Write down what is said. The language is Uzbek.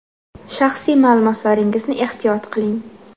Shaxsiy ma’lumotlaringizni ehtiyot qiling.